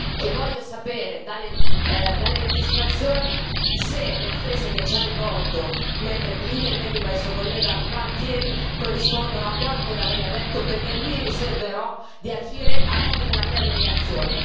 e voglio sapere dalle registrazioni se le offese che ci ha rivolto, mentre interveniva il suo collega Gualtieri, corrispondono a quanto da lei detto, perché mi riserverò di agire a nome della mia delegazione.